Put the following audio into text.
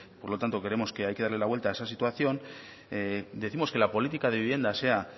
por lo tanto creemos que hay que darle la vuelta a esa situación decimos que la política de vivienda sea